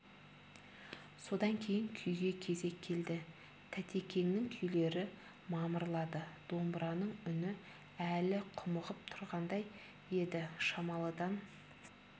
содан кейін күйге кезек келді тәтекеңнің күйлері мамырлады домбыраның үні әлі құмығып тұрғандай еді шамалыдан